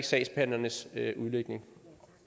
sagsbehandlernes udlægning